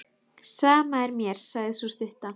Sama er mér, sagði sú stutta.